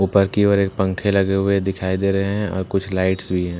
ऊपर की ओर एक पंखे लगे हुए दिख रही है और कुछ लाइट्स भी हैं।